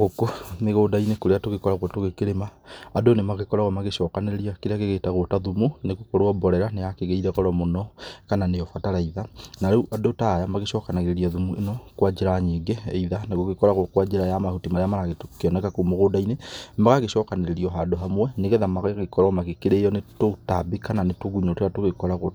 Gũkũ mĩgũnda-inĩ kũrĩa tũgĩkoragwo tũgĩkĩrĩma andũ nĩ magĩkoragwo magĩcokanĩrĩria kĩrĩa gĩgĩtagwo ta thumu nĩgũkorwo mborera nĩ yakĩgĩire goro mũno kana nĩyo bataraitha na rĩu andũ ta aya magĩcokanagĩrĩria thumu mũno kwa njĩra nyingĩ either nĩ gũgĩkoragwo kwa njĩra ya mahuti marĩa marakĩoneka kũu mũgũnda-inĩ, magagĩcokanĩrĩrio handũ hamwe nĩgetha magagĩkorwo magĩkĩrĩyo nĩ tũtambi kana nĩ tũgunyo tũrĩa tũgĩkiragwo